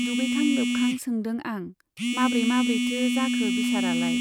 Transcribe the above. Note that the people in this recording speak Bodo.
दुगैखां लोबखां सोंदों आं , माब्रै माब्रैथो जाखो बिसारालाय ?